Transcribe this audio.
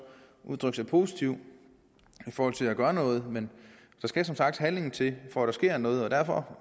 udtrykt sig positivt i forhold til at gøre noget men der skal som sagt handling til for at der sker noget og derfor